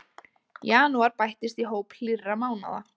Janúar bættist í hóp hlýrra mánaða